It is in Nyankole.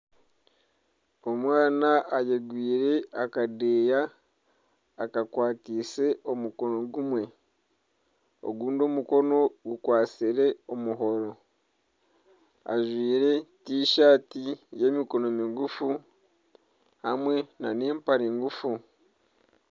Omwana ayekoreire akadeeya akakwatiise omukono gumwe ogundi omukono gukwatsire omuhoro ajwaire t-shirt eyemikono migufu hamwe nana empare ngufu.